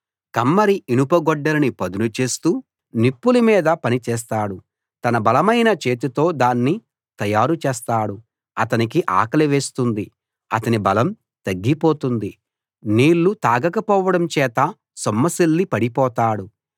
కమ్మరి ఇనుప గొడ్డలిని పదును చేస్తూ నిప్పుల మీద పని చేస్తాడు తన బలమైన చేతితో దాన్ని తయారుచేస్తాడు అతనికి ఆకలి వేస్తుంది అతని బలం తగ్గిపోతుంది నీళ్లు తాగకపోవడం చేత సొమ్మసిల్లి పడిపోతాడు